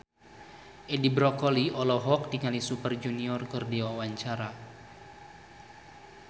Edi Brokoli olohok ningali Super Junior keur diwawancara